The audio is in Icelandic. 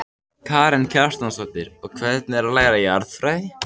Karen Kjartansdóttir: Og hvernig er að læra jarðfræði?